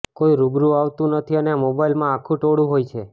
કોઈ રૂબરૂ આવતું નથી અને મોબાઇલમાં આખું ટોળું હોય છે